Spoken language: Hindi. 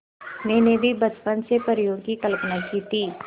मैंने भी बचपन से परियों की कल्पना की थी